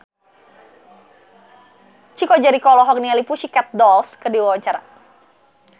Chico Jericho olohok ningali The Pussycat Dolls keur diwawancara